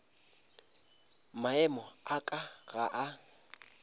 maemo a ka ga a